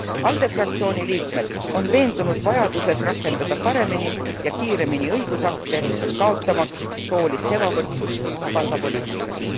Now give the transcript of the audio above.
ALDE fraktsiooni liikmed on veendunud vajaduses rakendada paremini ja kiiremini õigusakte, kaotamaks soolist ebavõrdsust palgapoliitikas.